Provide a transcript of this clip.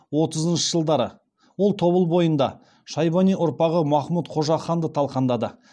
отызыншы жылдары ол тобыл бойында шайбани ұрпағы махмұт қожаханды талқандады